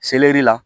la